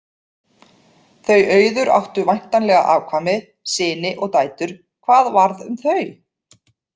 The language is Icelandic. Þau Auður áttu væntanlega afkvæmi, syni og dætur, hvað varð um þau?